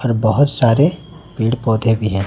और बहोत सारे पेड़ पौधे भी हैं।